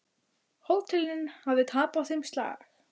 Hótelin hafi tapað þeim slag.